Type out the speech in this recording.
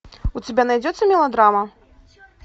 у тебя найдется мелодрама